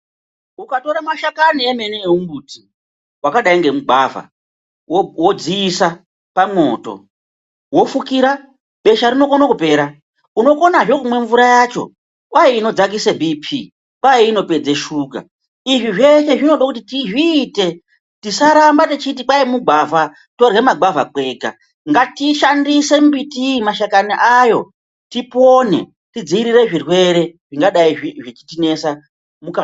Ukatora mashakani emene emumbuti vakadai ngemugwavha vodziisa pamwoto, vofukira, besha rinokone kupera unokonazve kumwa mvura yacho kwai inodzakisa Bp kwai inopedza shuga .Izvi zveshe zvinoda kuti tizviite tisaramba techiti kwai mugwavha torya magwavha kwega ngatishandise mbiti iyi mashakani ayo tipone tidziirire zvirwere zvingadai zvechitinesa muka.